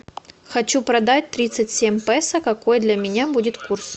хочу продать тридцать семь песо какой для меня будет курс